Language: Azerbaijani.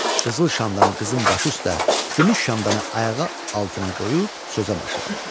Qızıl şamdanı qızın başı üstə, gümüş şamdanı ayağı altına qoyub sözə başladı.